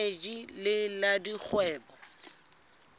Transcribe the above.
le eneji le la dikgwebo